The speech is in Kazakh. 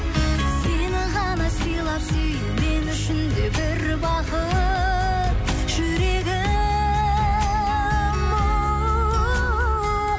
сені ғана сыйлап сүю мен үшін де бір бақыт жүрегім